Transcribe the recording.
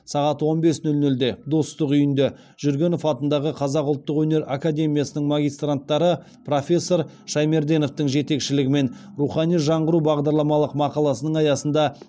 сағат он бес нөл нөлде достық үйінде жүргенов атындағы қазақ ұлттық өнер академиясының магистранттары профессор шаймерденовтың жетекшілігімен рухани жаңғыру бағдарламалық мақаласының аясында